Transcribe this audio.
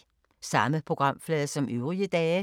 Samme programflade som øvrige dage